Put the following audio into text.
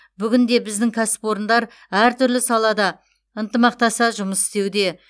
бүгінде біздің кәсіпорындар әртүрлі салада ынтымақтаса жұмыс істеуде